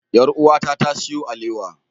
Yar'uwata ta siyo alewa.